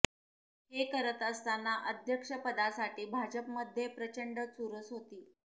हे करत असताना अध्यक्षपदासाठी भाजपमध्ये प्रचंड चुरस होती